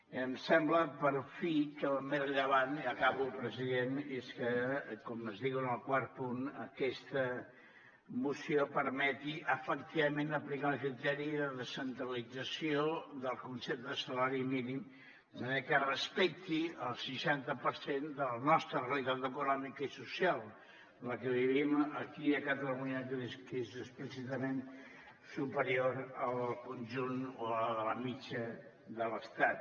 i em sembla per fi que el més rellevant i acabo president és que com es diu en el quart punt aquesta moció permeti efectivament aplicar el criteri de descentralització del concepte de salari mínim de manera que respecti el seixanta per cent de la nostra realitat econòmica i social en la que vivim aquí a catalunya que és explícitament superior a la del conjunt o a la de la mitjana de l’estat